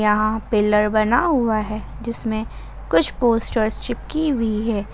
यहां पिलर बना हुआ है जिसमें कुछ पोस्टरस चिपकी हुई है।